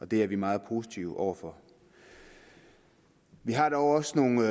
det er vi meget positive over for vi har dog også nogle